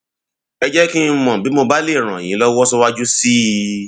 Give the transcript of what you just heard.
ẹ jẹ kí n mọ bí mo bá lè ràn ràn yín lọwọ síwájú sí i